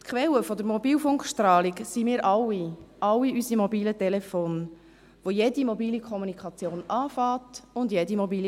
Quelle der Mobilfunkstrahlung sind wir alle, alle unsere mobilen Telefone, bei denen jede mobile Kommunikation beginnt und endet.